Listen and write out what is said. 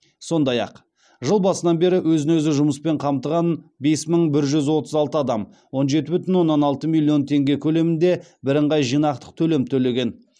сондай ақ жыл басынан бері өзін өзі жұмыспен қамтыған бес мың бір жүз отыз алты адам он жеті бүтін оннан алты миллион теңге көлемінде бірыңғай жинақтық төлем төлеген